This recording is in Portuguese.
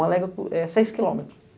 Uma légua é seis quilômetros.